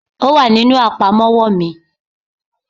Ò wà nínú àpamọ́wọ́ mi